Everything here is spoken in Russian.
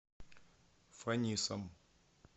фанисом